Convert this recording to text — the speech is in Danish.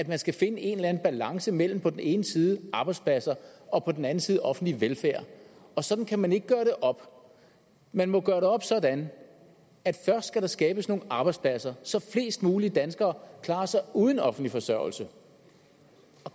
man skal finde en eller anden balance imellem på den ene side arbejdspladser og på den anden side offentlig velfærd og sådan kan man ikke gøre det op man må gøre det op sådan at først skal der skabes nogle arbejdspladser så flest mulige danskere klarer sig uden offentlig forsørgelse